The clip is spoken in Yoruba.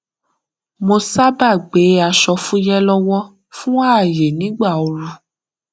mo sábà gbé aṣọ fúyẹ lọwọ fún ààyè nígbà ooru